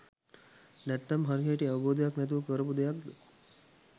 නැත්නම් හරිහැටි අවබෝධයක් නැතිව කරපු දෙයක්ද